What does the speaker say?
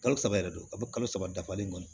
Kalo saba yɛrɛ do a bɛ kalo saba dafalen kɔnɔ